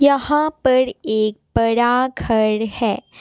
यहां पर एक बड़ा घर है।